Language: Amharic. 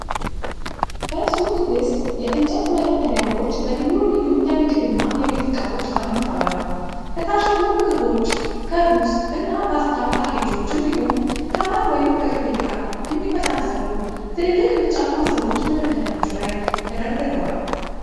በሱቅ ውስጥ የእንጨት መደርደሪያዎች በልዩ ልዩ የምግብ እና የቤት እቃዎች ተሞልተዋል። ከታሸጉ ምግቦች፣ ከሩዝ እና ፓስታ ፓኬጆች እንዲሁም፤ ከማር ወይም ከቅቤ ጋር የሚመሳሰሉ ትልልቅ ቢጫ ማሰሮዎች መደርደሪያዎቹ ላይ ተደርድረዋል።